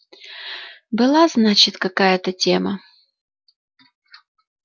была значит какая-то тема